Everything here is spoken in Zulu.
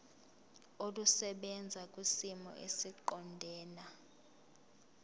olusebenza kwisimo esiqondena